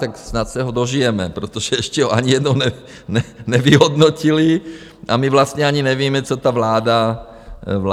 Tak snad se ho dožijeme, protože ještě ho ani jednou nevyhodnotili a my vlastně ani nevíme, co ta vláda chce.